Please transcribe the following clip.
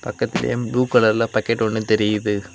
பக்கத்திலயே ப்ளூ கலர்ல பாக்கெட் ஒன்னு தெரியுது.